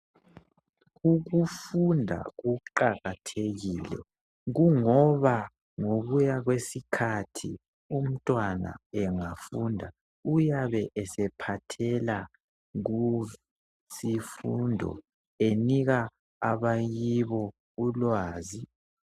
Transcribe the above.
Ukufunda kuqakathekile, kungoba ngokuya kwesikhathi umntwana engafunda uyabe esephathela kusifundo enika abakibo ulwazi.